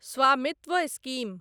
स्वामित्व स्कीम